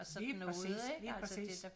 Lige præcis lige præcis